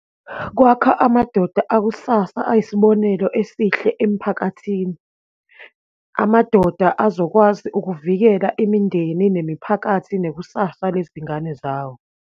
Kwakha amadoda akusasa, ayisibonelo esihle emphakathini, amadoda azokwazi ukuvikela imindeni, nemiphakathi, nekusasa lezingane zawo.